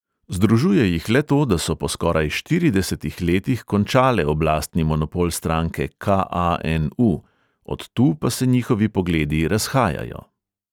Združuje jih le to, da so po skoraj štiridesetih letih končale oblastni monopol stranke ka|a|en|u, od tu pa se njihovi pogledi razhajajo.